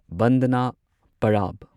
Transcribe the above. ꯕꯟꯗꯅꯥ ꯄꯔꯥꯕ